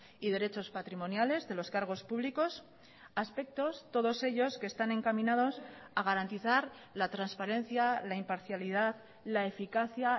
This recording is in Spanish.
y derechos patrimoniales de los cargos públicos aspectos todos ellos que están encaminados a garantizar la transparencia la imparcialidad la eficacia